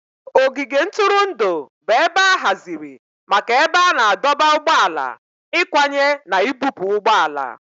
Ogige ntụrụndụ bụ ebe a haziri maka ebe a na-adọba ụgbọala, ịkwanye na ibupu ụgbọ ala